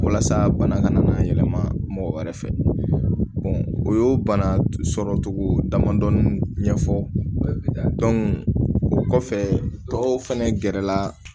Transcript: Walasa bana kana yɛlɛma mɔgɔ wɛrɛ fɛ o y'o bana sɔrɔ cogo damadɔni ɲɛfɔ o kɔfɛ tɔw fɛnɛ gɛrɛla